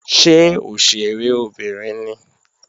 Ṣé òṣèré obìnrin ni?